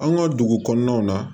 An ka dugu kɔnɔnaw na